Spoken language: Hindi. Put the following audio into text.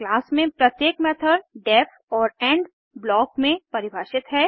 क्लास में प्रत्येक मेथड डेफ और इंड ब्लॉक में परिभाषित है